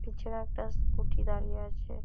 পিছনে একটা স্কুটি দাঁড়িয়ে আছে।